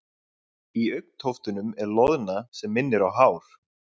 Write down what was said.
Í augntóftunum er loðna sem minnir á hár.